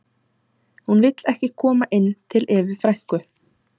Hún vill ekki koma inn til Evu frænku